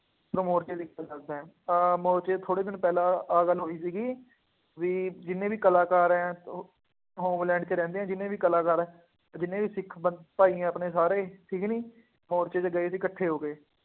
ਤੁਹਾਨੂੰ ਮੋਰਦੇ ਦੀ ਇੱਕ ਮੈਂ ਗੱਲ ਦੱਸਦਾਂ, ਅਹ ਮੋਰਚੇ ਤੋਂ ਥੋੜ੍ਹੇ ਦਿਨ ਪਹਿਲਾਂ ਆਹ ਗੱਲ ਹੋਈ ਸੀਗੀ ਬਈ ਜਿੰਨੇ ਵੀ ਕਲਾਕਾਰ ਹੈ ਉਹ ਉਹ ਹੋਮਲੈਂਡ ਵਿੱਚ ਰਹਿੰਦੇ ਆ ਜਿੰਨੇ ਵੀ ਕਲਾਕਾਰ ਹੈ, ਜਿੰਨੇ ਵੀ ਸਿੱਖ, ਬੰ ਭਾਈ ਹੈਗੇ ਆਪਣੇ ਸਾਰੇ, ਠੀਕ ਕਿ ਨਹੀਂ, ਮੋਰਚੇ ਚ ਗਏ ਸੀ ਇਕੱਠੇ ਹੋ ਕੇ,